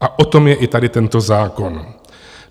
A o tom je i tady tento zákon.